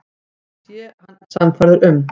Það sé hann sannfærður um.